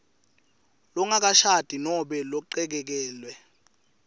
longakashadi nobe lochekekelwe